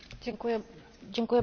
Pani Przewodnicząca!